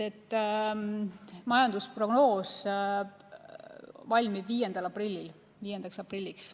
Majandusprognoos valmib 5. aprilliks.